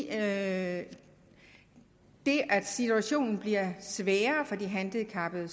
at situationen bliver sværere for de handicappede